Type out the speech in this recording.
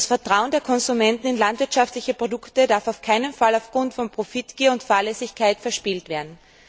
Das Vertrauen der Konsumenten in landwirtschaftliche Produkte darf auf keinen Fall aufgrund von Profitgier und Fahrlässigkeit verspielt werden.